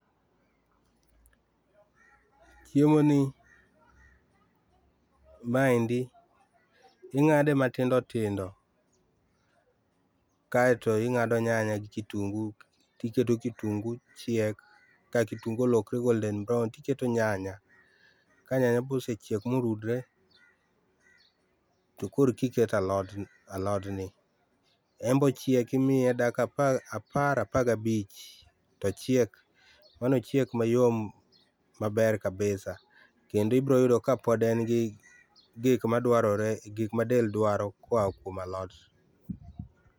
Chiemo ni, maendi ingade matindo tindo kaito ingado nyanya gi kitungu, tiketo kitungu chiek ka kitungu olokore golden brown timedo nyanya, ka nyanya bosechiek ma orudre tokorka iketo alotni, en be ochiek imiye dakika apar, apar ga bich tochiek mano ochiek mayom maber kabisa, kendo ibiro yudo kapod en gi gik madwarore, gik ma del dwaro koa kuom alot